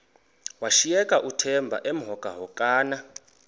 washiyeka uthemba emhokamhokana